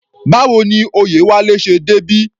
Báwo ni Oyewale ṣe débí?